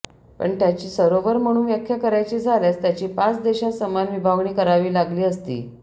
पण त्याची सरोवर म्हणून व्याख्या करायची झाल्यास त्याची पाच देशात समान विभागणी करावी लागली असती